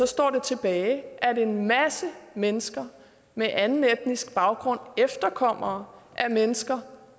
står det tilbage at en masse mennesker med anden etnisk baggrund efterkommere af mennesker